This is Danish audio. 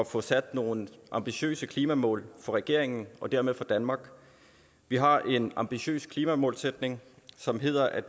få sat nogle ambitiøse klimamål for regeringen og dermed for danmark vi har en ambitiøs klimamålsætning som hedder at